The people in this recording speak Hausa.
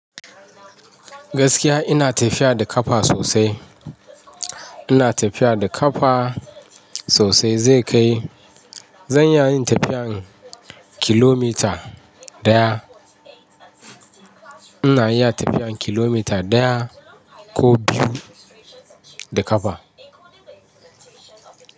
Gaskiya ina tafiya da ƙafa sosai. Ina tafiya da kafa sosai zai kai zan iya yin tafiyan kilomita ɗaya. Ina iya tafiyan kilomita ɗaya ko biyu da ƙafa.